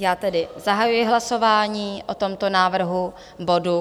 Já tedy zahajuji hlasování o tomto návrhu bodu.